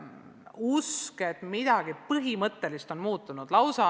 Usutakse, et midagi põhimõttelist on muutunud.